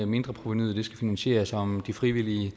mindreprovenuet skal finansieres og om de frivillige